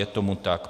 Je tomu tak.